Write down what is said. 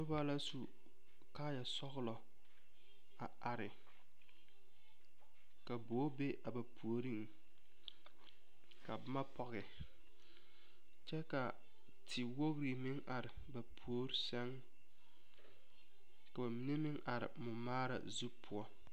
Noba la su kaayɛ sɔgelɔ a are ka bogi be a ba puoriŋ ka boma pɔge kyɛ ka tewogi meŋ are ba puori sɛŋ ka ba mine meŋ are mɔmaara zu poɔ